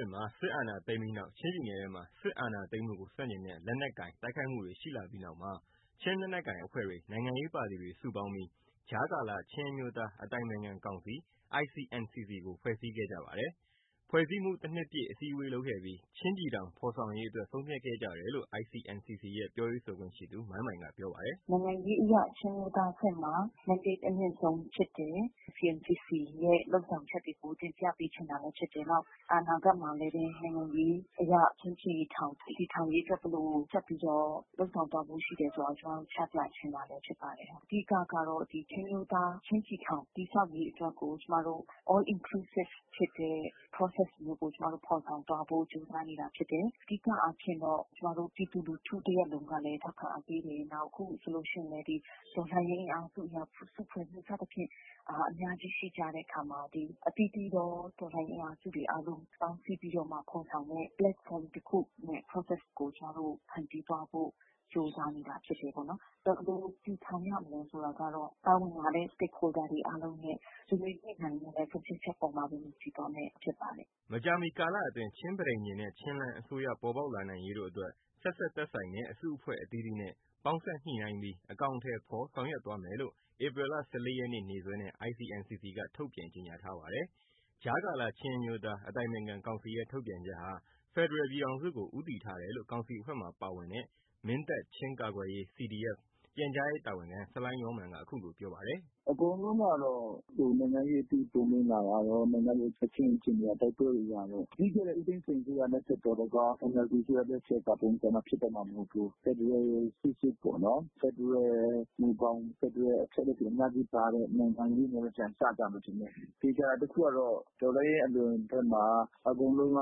ှစ်မှာ စစ်အာဏာသိမ်းပြီးနောက် ချင်းပြည်နယ်ထဲမှာ စစ်အာဏာသိမ်းမှုကို ဆန့်ကျင်တဲ့ လက်နက်ကိုင် တိုက်ခိုက်မှုတွေ ရှိလာပြီးနောက်မှာ ချင်းလက်နက်ကိုင်အဖွဲ့တွေ၊ နိုင်ငံရေးပါတီတွေ စုပေါင်းပြီး ကြားကာလ ချင်းအမျိုးသား အတိုင်ပင်ခံကောင်စီ ICNCC ကိုဖွဲ့စည်းခဲ့ကြပါတယ်။ ဖွဲ့စည်းမှု ၁ နှစ်ပြည့် အစည်းအဝေးလုပ်ခဲ့ပြီး ချင်းပြည်ထောင် ဖော်ဆောင်ရေးအတွက် ဆုံးဖြတ်ခဲ့ကြတယ်လို့ ICNCC ရဲ့ပြောရေးဆိုခွင့်သူ မိုင်မိုင်က ပြောပါတယ်။ “ နိုင်ငံရေးအရ ချင်းအမျိုးသားအဆင့်မှာ မန်းဒိတ် အမြင့်ဆုံးဖြစ်တယ်။ ICNCC ရဲ့လုပ်ဆောင်ချက်တွေကို တင်ပြပေးချင်တာလဲဖြစ်တယ်။ နောက် အနာဂတ်မှာလဲပဲ နိုင်ငံရေးအရ ချင်းပြည်ထောင် တည်ထောင်ရေး ဘယ်လို ဆက်ပြီးတော့ လုပ်ဆောင်သွားဖို့ရှိလဲ ကျမတို့ ချပြခြင်းပဲ ဖြစ်ပါတယ်။ အဓိကကတာ့ ချင်းအမျိုးသား ချင်းပြည်ထောင် တည်ဆောက်ရေး အတွက်ကို ကျမတို့ All Inclusiveness ဖြစ်တဲ့ ပရောဆက်ကို ကျမတို့ဖော်ဆောင်သွားဖို့ကြိုးပမ်းနေတာ ဖြစ်တယ်။ အဓိကအားဖြင့်တော့ ကျမတို့ပြည်သူလူထုတရပ်လုံးလည်း ထောက်ခံအားပေးတယ်။ နောက် အခုဆိုလို့ရှိရင်လည်း တော်လှန်ရေးအင်အားစု စုဖွဲ့မှု စသည်ဖြင့် အများကြီးရှိကြတဲ့အခါမှာ အသီးသီးသော တော်လှန်ရေး အင်အားစုတွေအားလုံး ပေါင်းစည်းပြီးမှ ဖော်ဆောင်မယ့် လုပ်ငန်းတခုရဲ့ပရောဆက်ကို ကျမတို့ဖန်တီးသွားဖို့ ကြိုးစားနေတယ် ပေါ့နော်။ ဘယ်လို တည်ထောင်ရမလဲ ဆိုတာကတော့ ပါဝင်လာတဲ့သူ အားလုံးရဲ့ ဆွေးနွေးညှိနှိုင်းမှုနဲ့ ဆုံးဖြတ်ချက်အပေါ်မှာ မူတည်သွားမှာ ဖြစ်ပါတယ်။ ” မကြာမီကာလအတွင်း ချင်းပဋိညာဉ်နဲ့ ချင်းလဲန်း အစိုးရပေါ်ပေါက်လာနိုင်ရေးတို့အတွက် ဆက်စပ်သက်ဆိုင်တဲ့ အစုအဖွဲ့အသီးသီးနဲ့ ပေါင်းစပ်ညှိနှိုင်းပြီး အကောင်အထည်ဖော်ဆောင်ရွက်သွားမယ်လို့ ဧပြီ လ ၁၄ ရက်နေ့ နေ့စွဲနဲ့ ICNCC က ထုတ်ပြန်ကြေညာထားပါတယ်။ ကြားကာလ ချင်းအမျိုးသား အတိုင်ပင်ခံကောင်စီရဲ့ ထုတ်ပြန်ချက်ဟာ ဖက်ဒရယ်ပြည်ထောင်စုကို ဦးတည်ထားတယ်လို့ ကောင်စီအဖွဲ့မှာပါဝင်တဲ့ မင်းတပ် ချင်းကာ ကွယ်ရေး CDF ပြန်ကြားရေးတာဝန်ခံ ဆလိုင်းယောမာန်က အခုလိုပြောပါတယ်။ “ အကုန်လုံးကတော့ နိုင်ငံရေးအသိ ပွင့်လင်းလာတာရယ်။ နိုင်ငံရေး အခင်းအကျင်း တိုက်ပွဲတွေကတော့ ပြီးခဲ့တဲ့ ဦးသိန်းစိန် အစိုးရလက်ထက်တုန်းက NLD အစိုးရ လက်ထက်က ပုံစံဖြစ်တော့မှာ မဟုတ်ဘူး။ ဖက်ဒရယ် စစ်စစ်ပေါ့နော်။ ဖက်ဒရယ် မူဘောင် ဖက်ဒရယ်အချက်အလက်တွေ အများကြီးပါတဲ့ နိုင်ငံရေးတွေနဲ့ပြန်စ ကြမယ်ထင်တယ်။ သေချာတာ တခုကတော့ တော်လှန်ရေးအသွင်ထဲမှာ အကုန်လုံးက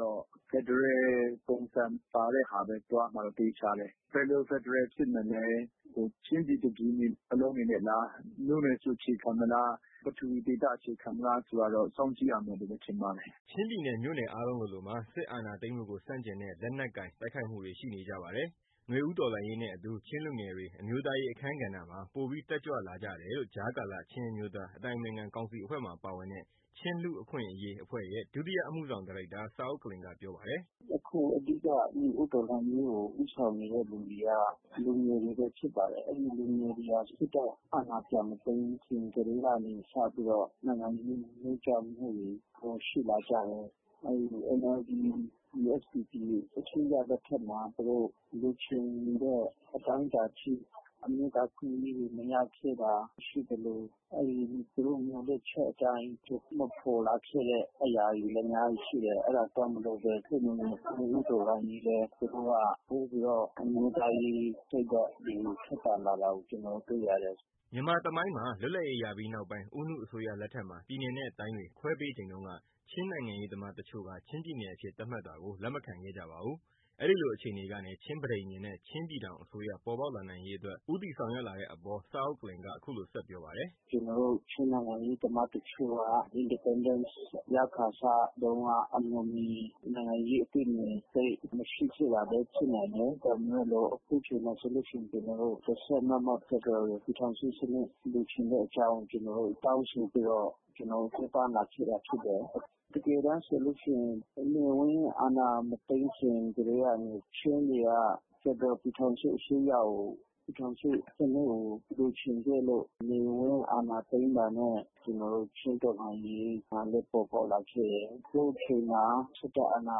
တော့ ဖက်ဒရယ်ပုံစံ ပါတဲ့ဟာပဲ သွားမှာတော့ သေချာတယ်။ ဘယ်လို ဖက်ဒရယ်ဖြစ်မလဲ ချင်းပြည်တပြည်လုံး အနေနဲ့လား။ မြို့နယ်ကို အခြေခံမလား။ ပထဝီဒေသကို အခြေခံမလား ဆိုတာကတော့ စောင့်ကြည့်ရမှာပဲ။ ” ချင်းပြည်နယ် မြို့နယ်အားလုံးလိုလိုမှာ စစ်အာဏာသိမ်းမှုကို ဆန့်ကျင်တဲ့ လက်နက်ကိုင် တိုက်ခိုက်မှုတွေ ရှိနေကြပါတယ်။ နွေဦးတော်လှန်ရေးနဲ့အတူ ချင်းလူငယ်တွေ အမျိုးသားရေး အခန်းကဏ္ဍမှာ ပိုပြီး တက်ကြွလာတယ်လို့ ကြားကာလ ချင်းအမျိုးသား အတိုင်ပင်ခံကောင်စီအဖွဲ့မှာပါဝင်တဲ့ ချင်းလူ့အခွင့်အရေးအဖွဲ့ရဲ့ ဒုတိယအမှုဆောင်ဒါရိုက်တာ ဇာအုတ်ကလင်ကပြောပါတယ်။ “ အခု အဓိက နွေဦးတော်လှန်ရေးကို ဦးဆောင်နေသူတွေက လူငယ်တွေပဲ ဖြစ်ပါတယ်။ အဲဒီလူငယ်တွေဟာ စစ်တပ်အာဏာ ပြန်မသိမ်းခင်ကတည်းက စပြီးတော့ နိုင်ငံရေးနိုးကြားမှုတွေ ပိုရှိလာကြတယ်။ အဲဒီ NLD ၊ USDP အစိုးရ လက်ထက်မှာ သူတို့လိုချင်နေတဲ့ အတိုင်းအတာအထိ အမျိုးသားအခွင့်အရေးတွေ မရခဲ့တာရှိသလို သူတို့မျှော်လင့်ချက်အတိုင်း ဖြစ်မလာခဲ့တဲ့ အရာတွေလည်း အများကြီးရှိတယ်။ အဲတာကြောင့်မို့လို့ နွေဦးတော်လှန်ရေးလည်း သူတို့က ပိုပြီးတော့ အမျိုးသားရေးစိတ်ဓါတ်တွေ ထက်သန်လာတာ ကျနော်တို့တွေ့ရတယ်။ ” မြန်မာသမိုင်းမှာ လွတ်လပ်ရေးရပြီးနောက်ပိုင်း ဦးနုအစိုးရလက်ထက်မှာ ပြည်နယ်နဲ့တိုင်းတွေ ခွဲပေးချိန်တုန်းက ချင်းနိုင်ငံရေးသမားတချို့က ချင်းပြည်နယ်အဖြစ် သတ်မှတ်တာကို လက်မခံ ခဲ့ကြပါဘူး။ အဲဒီလို အခြေအနေကနေ ချင်းပဋိညာဉ်နှင့် ချင်းပြည်ထောင်အစိုးရ ပေါ်ပေါက်လာနိုင်ရေးအတွက် ဦးတည်ဆောင်ရွက်လာတဲ့အပေါ် ဇာအုတ်ကလင်က အခုလိုဆက်ပြောပါတယ်။ “ ကျနော်တို့ ချင်းနိုင်ငံရေးသမားတချို့က Independence ရခါစတုန်းက နိုင်ငံရေး အမျှော်အမြင် အတွေးအမြင် သိပ်မရှိခဲ့တာလဲဖြစ်နိုင်တယ်။ ဒါပေမယ်လို့ အခုအချိန်မှ ာဆိုလို့ရှိရင် ကျနော်တို့ တစိုက်မတ်မတ် ဖက်ဒရယ်ကို ပြည်ထောင်စုစနစ် လိုချင်တဲ့အကြောင်း ကျနော်တို့ တောင်းဆိုပြီးတော့ ပူးပေါင်းလာခဲ့တာဖြစ်တယ်။ တကယ်တမ်းဆိုလို့ရှိရင် ဗိုလ်နေဝင်း အာဏာ မသိမ်းခင်ကတည်းကနေ ချင်းတွေက ဖက်ဒရယ်ပြည်ထောင်စုအစိုးရကို ပြည်ထောင်စုစနစ်ကို လိုချင်ခဲ့လို့ နေဝင်းအာဏာသိမ်းတာနဲ့ ကျနော်တို့ချင်းတော်လှန်ရေး ပေါ်ပေါက်လာခဲ့တယ်။ အခုချိန်မှာ စစ်တပ်အာဏာ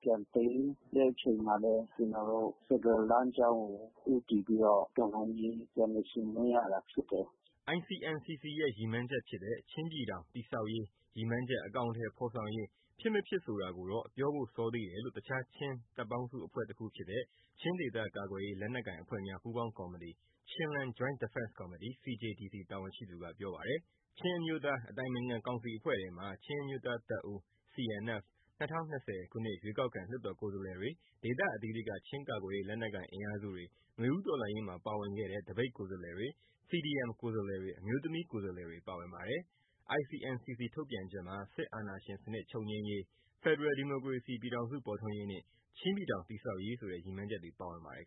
ပြန်သိမ်းတဲ့ အချိန်မှာလည်း ကျနော်တို့ ဖက်ဒရယ်လမ်းကြောင်းကို ဦးတည်ပြီးတော့ တော်လှန်ရေး ပြန်လည် ဆင်နွှဲရတာဖြစ်တယ်။ ” ICNCC ရဲ့ ရည်မှန်းချက်ဖြစ်တဲ့ ချင်းပြည်ထောင် တည်ဆောက်ရေး ရည်မှန်းချက်အကောင်အထည်ဖော်ဆောင်ရေး ဖြစ်မဖြစ်ဆိုတာကိုတော့ ပြောဖို့စောနေသေးတယ်လို့ တခြား ချင်းတပ်ပေါင်းစုအဖွဲ့တခုဖြစ်တဲ့ ချင်းဒေသကာကွယ်ရေး လက်နက်ကိုင်အဖွဲ့များ ပူးပေါင်းကော်မတီ Chinland Joint Defense Committee တာဝန်ရှိသူက ပြောပါတယ်။ ချင်းအမျိုးသား အတိုင်ပင်ခံကောင်စီအဖွဲ့ထဲမှာ ချင်းအမျိုးသားတပ်ဦး CNF ၂၀၂၀ခုနှစ်ရွေးကောက်ခံ လွှတ်တော်ကိုယ်စားလှယ်တွေ ဒေသအသီးသီးက ချင်းကာကွယ်ရေး လက်နက်ကိုင်အင်အားစုတွေ နွေဦးတော်လှန်ရေးမှာ ပါဝင်ခဲ့တဲ့သပိတ်ကိုယ်စားလှယ်တွေ CDM ကိုယ်စားလှယ်တွေ အမျိုးသမီးကိုယ်စားလှယ်တွေ ပါဝင်ပါတယ်။ ICNCC ထုတ်ပြန်ချက်မှာ စစ်အာဏာရှင်စနစ် ချုပ်ငြိမ်းရေး၊ ဖက်ဒရယ်ဒီမိုကရေစီ ပြည်ထောင်စု ပေါ်ထွန်းရေးနှင့် ချင်းပြည်ထောင် တည်ဆောက်ရေးဆိုတဲ့ ရည်မှန်းချက်တွေ ပါဝင်ပါတယ်